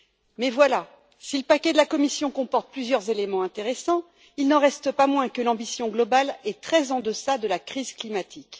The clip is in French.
Mais voilà, si le paquet de la Commission comporte plusieurs éléments intéressants, il n'en reste pas moins que l'ambition globale est très en deçà de ce qu'exige la crise climatique.